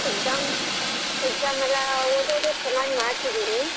Exam exam ಎಲ್ಲಾ ಓದೋದು ಎಲ್ಲಾ ಚನ್ನಾಗಿ ಮಾಡ್ತಿದೀನಿ.